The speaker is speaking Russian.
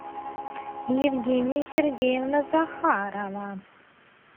евгения сергеевна захарова